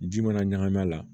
Ji mana ɲagami a la